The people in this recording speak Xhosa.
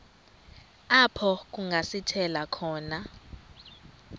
apho kungasithela khona